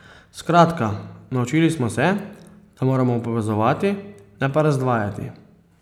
Skratka naučili smo se, da moramo povezovati, ne pa razdvajati.